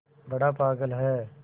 बड़ा पागल है